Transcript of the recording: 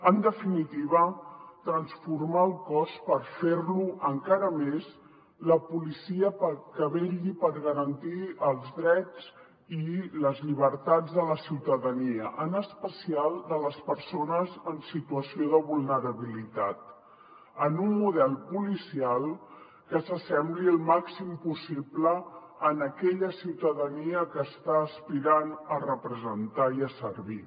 en definitiva transformar el cos per fer lo encara més la policia que vetlli per garantir els drets i les llibertats de la ciutadania en especial de les persones en situació de vulnerabilitat en un model policial que s’assembli el màxim possible a aquella ciutadania que està aspirant a representar i a servir